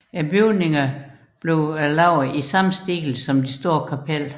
Bygningerne blev udført i samme stil som det store kapel